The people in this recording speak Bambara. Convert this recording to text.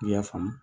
I y'a faamu